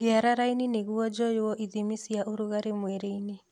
Ngĩara raini nĩguo joyuũ ithimi cia ũrugarĩ mwĩrĩĩni.